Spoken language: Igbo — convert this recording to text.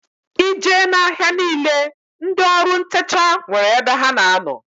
I jee na-ahia niile ndị ọrụ ntecha nwere ebe ha na-ano.